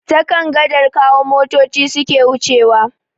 Ta kan gadar Kawo motoci suke wucewa.